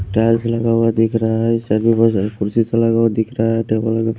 Tiles लगा हुआ दिख रहा है। सभी कुर्सी सा लगा हुआ दिख रहा है। टेबल --